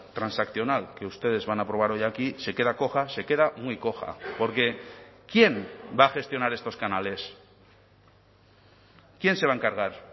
transaccional que ustedes van a aprobar hoy aquí se queda coja se queda muy coja porque quién va a gestionar estos canales quién se va a encargar